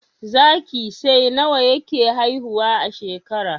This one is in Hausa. Zaki sai nawa yake haihuwa a shekara